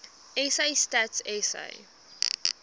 sa stats sa